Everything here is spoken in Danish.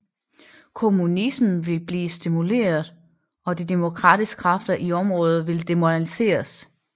Kommunismen ville blive stimuleret og de demokratiske kræfter i området ville demoraliseres